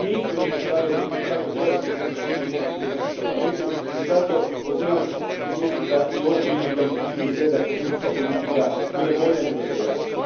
Mi nismo još ostvarili kohezijsku politiku kako treba u našem Parlamentu i zato pozivam Komisiju da i ovom prilikom učini sve da kohezijska politika bude bolja nego što je danas.